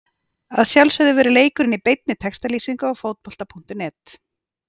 Að sjálfsögðu verður leikurinn í beinni textalýsingu á Fótbolta.net.